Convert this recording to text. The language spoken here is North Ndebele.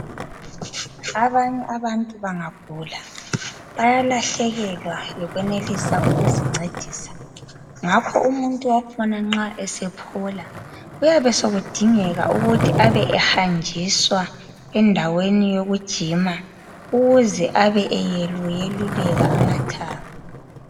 Abanye abantu bangagula bayalahlekelwa yikwenelisa ukuzincedisa. Umuntu wakhona nxa esephola kuyabe sekudingeka ukuthi abe ehanjiswa endaweni yokujima ukuze abe eyeluyeluleka amathambo.